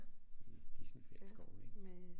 I Gisselfeld skoven ik